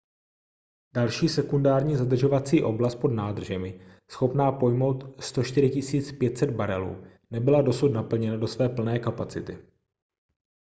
další sekundární zadržovací oblast pod nádržemi schopná pojmout 104 500 barelů nebyla dosud naplněna do své plné kapacity